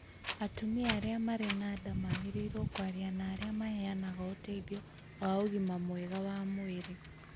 Atumia arĩa marĩ na nda magĩrĩirũo kwaria na arĩa maheanaga ũteithio wa ũgima mwega wa mwĩrĩ